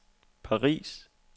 Paris